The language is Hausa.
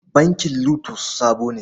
Bankin LOTUS sabo ne.